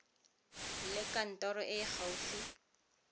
le kantoro e e gaufi